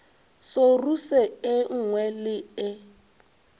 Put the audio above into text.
soruse e nngwe le e